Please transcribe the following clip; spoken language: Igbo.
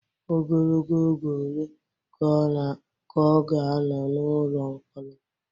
Ogologo oge ole ka ọ ga-anọ n'ụlọ mkpọrọ?